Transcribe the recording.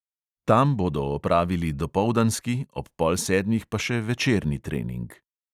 Tam bodo opravili dopoldanski, ob pol sedmih pa še večerni trening.